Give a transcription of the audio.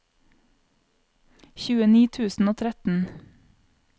tjueni tusen og tretten